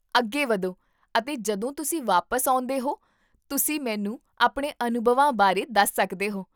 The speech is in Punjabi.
ਅੱਗੇ ਵਧੋ ਅਤੇ ਜਦੋਂ ਤੁਸੀਂ ਵਾਪਸ ਆਉਂਦੇਹੋ, ਤੁਸੀਂ ਮੈਨੂੰ ਆਪਣੇ ਅਨੁਭਵਾਂ ਬਾਰੇ ਦੱਸ ਸਕਦੇ ਹੋ